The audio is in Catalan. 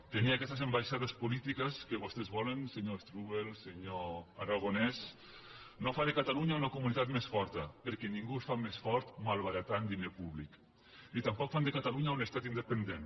tenir aquestes ambaixades polítiques que vostès volen senyor strubell senyor aragonès no fa de catalunya una comunitat més forta perquè ningú es fa més fort malbaratant diner públic ni tampoc fan de catalunya un estat independent